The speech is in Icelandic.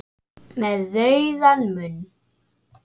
Með rauðan munn.